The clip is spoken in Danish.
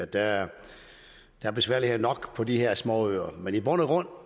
der er er besværligheder nok på de her småøer men i bund og